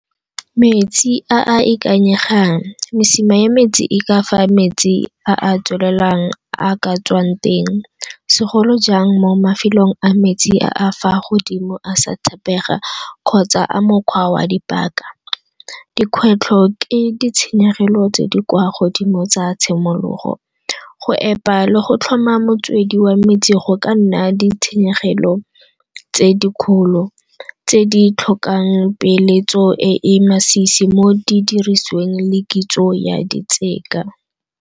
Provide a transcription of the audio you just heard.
Metsi a a ikanyegang, mesima ya metsi e ka fa metsi a tswelelang a ka tswang teng, segolo jang mo mafelong a metsi a fa a godimo a sa tshepega kgotsa a mokgwa wa dipaka. Dikgwetlho ke ditshenyegelo tse di kwa godimo tsa tshimologo. Go epa le go tlhoma motswedi wa metsi go ka nna ditshenyegelo tse dikgolo tse di tlhokang peeletso e masisi mo didirisweng le kitso ya di .